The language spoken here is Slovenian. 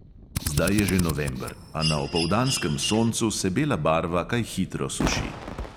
Zdaj je že november, a na opoldanskem soncu se bela barva kaj hitro suši.